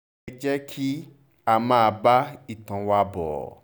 ẹ jẹ́ kí a máa bá ìtàn wa bọ́